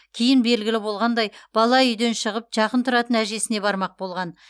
кейін белгілі болғандай бала үйден шығып жақын тұратын әжесіне бармақ болған